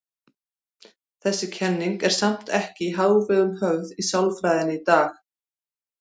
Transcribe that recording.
Þessi kenning er samt ekki í hávegum höfð í sálfræðinni í dag.